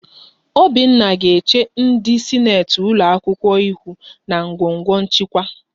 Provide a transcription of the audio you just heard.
Obinna ga-eche ndị sineti ụlọakwụkwọ ihu na ngọngọ nchịkwa